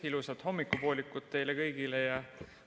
Ilusat hommikupoolikut teile kõigile!